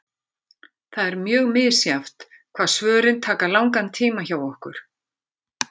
Það er mjög misjafnt hvað svörin taka langan tíma hjá okkur.